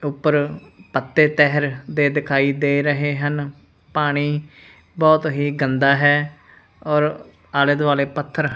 ਉਪਰ ਪੱਤੇ ਤਹਿਰ ਦੇ ਦਿਖਾਈ ਦੇ ਰਹੇ ਹਨ ਪਾਣੀ ਬਹੁਤ ਹੀ ਗੰਦਾ ਹੈ ਔਰ ਆਲੇ ਦੁਆਲੇ ਪੱਥਰ--